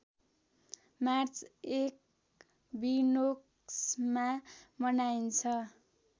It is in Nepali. मार्च एक्विनोक्समा मनाइन्छ